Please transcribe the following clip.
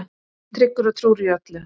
Tryggur og trúr í öllu.